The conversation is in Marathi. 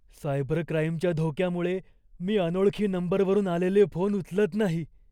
सायबर क्राईमच्या धोक्यामुळे मी अनोळखी नंबरवरून आलेले फोन उचलत नाही.